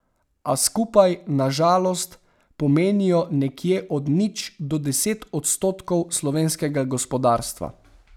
A skupaj, na žalost, pomenijo nekje od nič do deset odstotkov slovenskega gospodarstva.